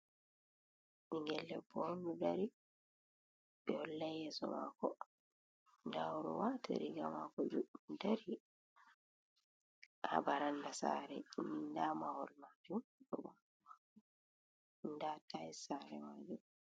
Bingel debbo do dari be hollai yeso mako, da odo wati riga mako juddum dari ha baranda sare ni da mahol majum da tils sare majum.